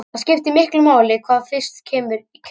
Það skiptir miklu hvað fyrst kemur í kerið.